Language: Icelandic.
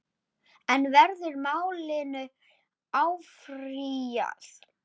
En verður málinu áfrýjað?